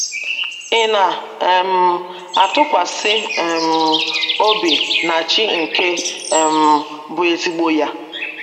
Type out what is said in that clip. Ị̀ Na um - atụkwasị um Obi na Chi nke um Bụ́ Ezigbo Ya?